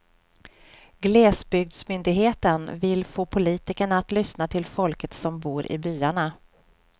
Glesbygdsmyndigheten vill få politikerna att lyssna till folket som bor i byarna.